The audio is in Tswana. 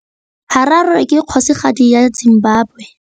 Harare ke kgosigadi ya Zimbabwe.